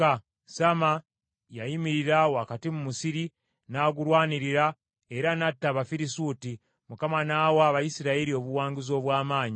Samma yayimirira wakati mu musiri, n’agulwanirira, era n’atta Abafirisuuti. Mukama n’awa Abayisirayiri obuwanguzi obw’amaanyi.